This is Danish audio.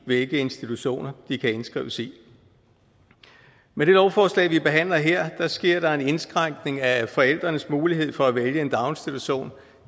hvilke institutioner de kan indskrives i med det lovforslag vi behandler her sker der en indskrænkning af forældrenes mulighed for at vælge en daginstitution